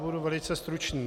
Budu velice stručný.